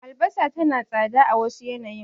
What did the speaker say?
Albasa tana tsada a wasu yanayin.